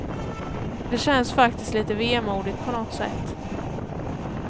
Det känns faktiskt lite vemodigt på något sätt.